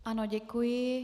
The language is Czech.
Ano, děkuji.